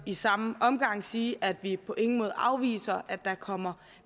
i samme omgang sige at vi på ingen måde afviser at der kommer